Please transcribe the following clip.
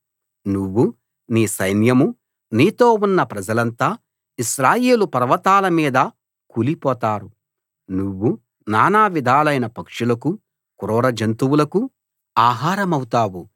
నువ్వూ నీ సైన్యమూ నీతో ఉన్న ప్రజలంతా ఇశ్రాయేలు పర్వతాల మీద కూలిపోతారు నువ్వు నానా విధాలైన పక్షులకు క్రూర జంతువులకు ఆహారమవుతావు